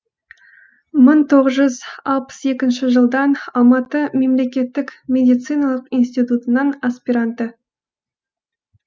мың тоғыз жүз алпыс екінші жылдан алматы мемлекеттік медициналық институтының аспиранты